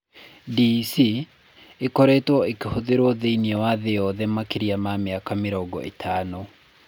DEC ĩkoretwo ĩgĩhũthĩrũo thĩinĩ wa thĩ yothe makĩria ma mĩaka mĩrongo ĩtano.